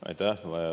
Aitäh!